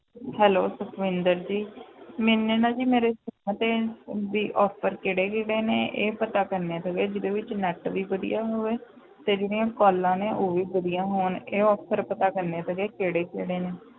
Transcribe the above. Hello Satwinder ji ਮੈਨੇ ਨਾ ਜੀ ਮੇਰੇ ਤੇ ਵੀ offer ਕਿਹੜੇ ਕਿਹੜੇ ਨੇ ਇਹ ਪਤਾ ਕਰਨਾ ਸੀਗੇ, ਜਿਹਦੇ ਵਿੱਚ net ਵੀ ਵਧੀਆ ਹੋਵੇ ਤੇ ਜਿਹੜੀਆਂ calls ਨੇ, ਉਹ ਵੀ ਵਧੀਆ ਹੋਣ ਇਹ offer ਪਤਾ ਕਰਨੇ ਸੀਗੇ ਕਿਹੜੇ ਕਿਹੜੇ ਨੇ।